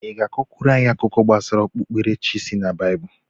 ị ga-akọkwuru anyị akụkọ gbasara okpukpere chi si na Baịbụl?